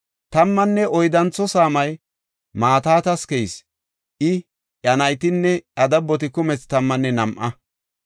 Tammanne oyddantho saamay Matitas keyis; I, iya naytinne iya dabboti kumethi tammanne nam7a.